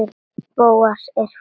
Bóas er fínn.